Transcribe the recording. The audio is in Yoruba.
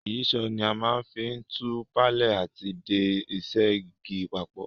Ìyíṣòó ni a ma n fi tù palẹ́ àti de isẹ́ igi papò